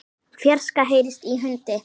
fjarska heyrist í hundi.